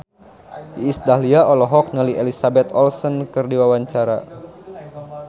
Iis Dahlia olohok ningali Elizabeth Olsen keur diwawancara